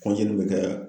bɛ kɛ